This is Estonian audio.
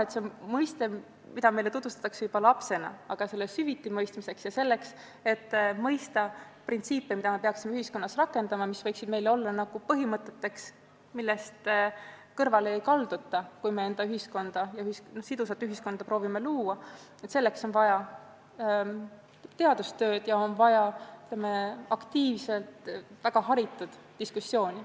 Õiglus on mõiste, millega me tutvume juba lapsena, aga selle süviti mõistmiseks ja selleks, et mõista printsiipe, mida me peaksime rakendama, kui me proovime luua sidusat ühiskonda, on vaja teadustööd ja aktiivset väga haritud inimeste diskussiooni.